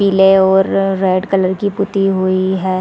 पीले और red colour की पुती हुई हैं ।